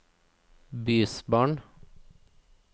bysbarn